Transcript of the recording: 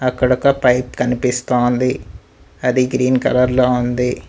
ఇక్కడ ఒక పైప్ కనిపిసస్తోంది అది గ్రీన్ కలర్ లో ఉంది.